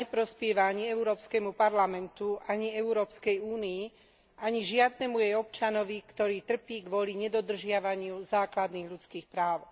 Správa neprospieva ani Európskemu parlamentu, ani Európskej únii, ani žiadnemu jej občanovi, ktorý trpí kvôli nedodržiavaniu základných ľudských práv.